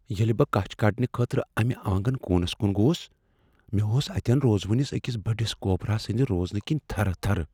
ییٚلہ بہٕ کچھ کڑنہٕ خٲطرٕ امہ آنگن كوٗنس کٗن گوس، مےٚ ٲس اتین روزونِس اكِس بڈِس كوبرا سٕندِ روزنہٕ كِنہِ تھرٕ تھرٕ ۔